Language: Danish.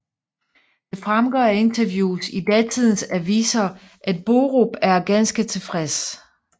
Det fremgår af interviews i datidens aviser at Borup er ganske tilfreds